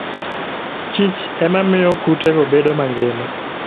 kich ema miyo kutego bedo mangima.